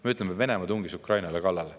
Me ütleme, et Venemaa tungis Ukrainale kallale.